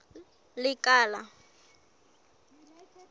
lekala